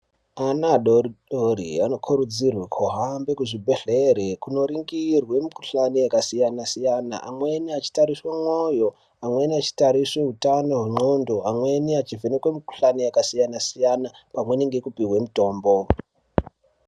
Ana adodori anokurudzirwe kuhambe kuzvibhehlere kunoringirwe mukuhlani yakasiyana siyana amweni achitariswe mwoyo amweni achitariswe utano hwenxondo amweni achivhenekwe mukuhlani yakasiyana siyana pamweni nekupuhwe mutombo.